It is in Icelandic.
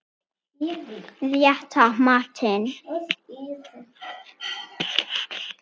Rétta matinn.